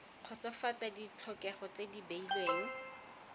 kgotsofatsa ditlhokego tse di beilweng